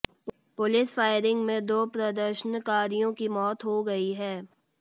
police firing में दो प्रदर्शनकारियों की मौत हो गई है